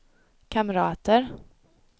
kamrater